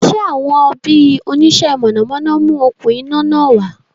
Sé àwọn bi oníṣe mọ̀nàmọ́ná mú okún iná náà wá?